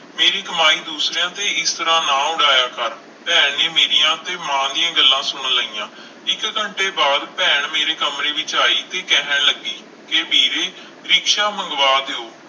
ਮੇਰੀ ਕਮਾਈ ਦੂਸਰਿਆਂ ਤੇ ਇਸ ਤਰ੍ਹਾਂ ਨਾ ਉਡਾਇਆ ਕਰ, ਭੈਣ ਨੇ ਮੇਰੀਆਂ ਤੇ ਮਾਂ ਦੀਆਂ ਗੱਲਾਂ ਸੁਣ ਲਈਆਂ, ਇੱਕ ਘੰਟੇ ਬਾਅਦ ਭੈਣ ਮੇਰੇ ਕਮਰੇ ਵਿੱਚ ਆਈ ਤੇ ਕਹਿਣ ਲੱਗੀ ਕਿ ਵੀਰੇ ਰਿਕਸ਼ਾ ਮੰਗਵਾ ਦਿਓ,